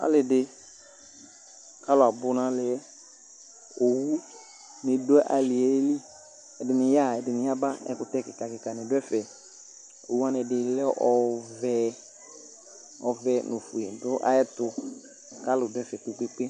ɑlidi ɑluabunalie owunidu ɑlieli ediniyaha ɛdiniyaba ekute kikakika niduefe owuwanibi leɔve ovenu ofue naetu kɑluduefe kpekpekpe